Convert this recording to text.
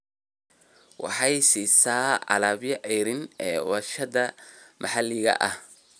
Waxay siisaa alaabada ceeriin ee warshadaha maxalliga ah.